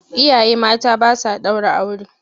Iyaye mata ba sa ɗaura aure.